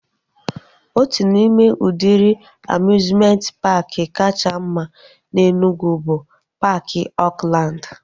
Otu n'ime udịri amiuzmenti paaki kacha mma na Enugwu bụ paaki Oakland